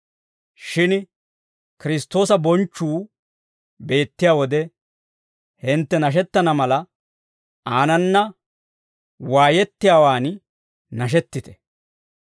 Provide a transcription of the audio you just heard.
Shin Kiristtoosa bonchchuu beettiyaa wode hintte nashettana mala, aanana waayettiyaawaan nashetite.